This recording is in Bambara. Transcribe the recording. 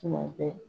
Tuma bɛɛ